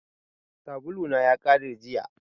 Sabulu na ya kare jiya.